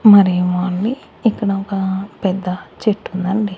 మరేమో అండి ఇక్కడ ఒగ పెద్ద చెట్టుందండి.